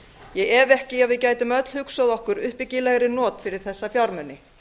ég efa ekki að við gætum öll hugsað okkur uppbyggilegri not fyrir þessa fjármuni